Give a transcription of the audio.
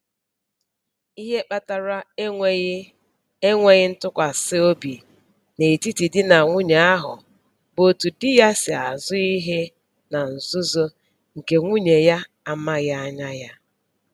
Ihe kpatara enweghị enweghị ntụkwasịobi n'etiti di na nwunye ahụ bụ otu di ya si azụ ihe na nzuzo nke nwunye ya amaghị anya ya